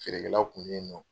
Feere kɛlaw kun bɛ ye nɔ.